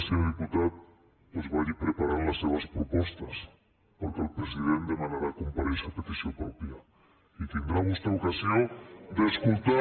senyor diputat doncs vagi preparant les seves propostes perquè el president demanarà comparèixer a petició pròpia i tindrà vostè ocasió d’escoltar